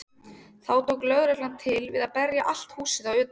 Þá tók lögreglan til við að berja allt húsið að utan.